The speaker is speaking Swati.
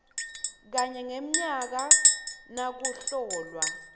kanye ngemnyaka nakuhlolwa